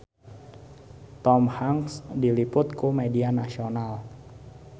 Tom Hanks diliput ku media nasional